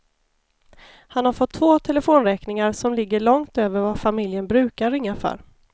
Han har fått två telefonräkningar som ligger långt över vad familjen brukar ringa för.